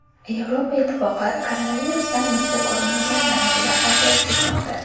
Yevropa Ittifoqi koronavirusdan misli ko‘rilmagan darajada aziyat chekmoqda.